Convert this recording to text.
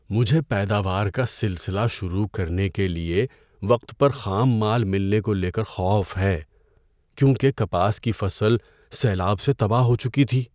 مجھے پیداوار کا سلسلہ شروع کرنے کے لیے وقت پر خام مال ملنے کو لے کر خوف ہے، کیونکہ کپاس کی فصل سیلاب سے تباہ ہو چکی تھی۔